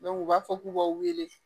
u b'a fɔ k'u b'a wele